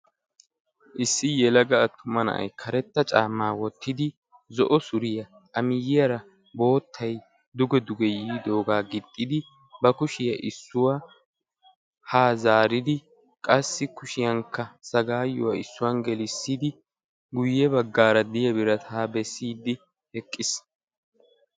Issi yelaga attuma na"ay karetta caammaa wottidi zo"o suriyaa A miyiyaara boottay duge duge yiidaagaa gixxidi ba kushiyaa issuwaa haa zaaridi qassi kushiyankka sagaayyuwaa issuwan gelissidi guyye baggaara de'iya birataa bessiiddi eqqis.